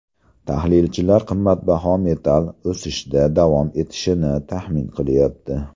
Tahlilchilar qimmatbaho metall o‘sishda davom etishini taxmin qilyapti.